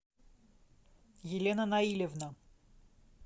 елена наилевна